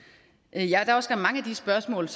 af spørgsmål